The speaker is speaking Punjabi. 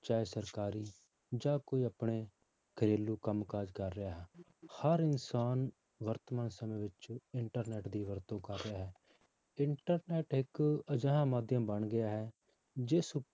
ਚਾਹੇ ਸਰਕਾਰੀ ਜਾਂ ਕੋਈ ਆਪਣੇ ਘਰੇਲੂ ਕੰਮ ਕਾਜ ਕਰ ਰਿਹਾ ਹੈ ਹਰ ਇਨਸਾਨ ਵਰਤਮਾਨ ਸਮੇਂ ਵਿੱਚ internet ਦੀ ਵਰਤੋਂ ਕਰ ਰਿਹਾ ਹੈ internet ਇੱਕ ਅਜਿਹਾ ਮਾਧਿਅਮ ਬਣ ਗਿਆ ਹੈ ਜਿਸ